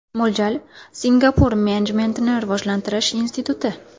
Mo‘ljal: Singapur menejmentni rivojlantirish instituti.